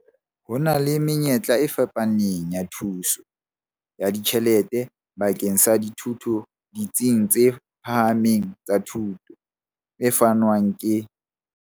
Ho na le menyetla e fapaneng ya thuso ya ditjhelete bakeng sa dithuto ditsing tse phahameng tsa thuto, e fanwang ke.